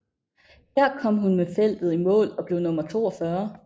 Her kom hun med feltet i mål og blev nummer 42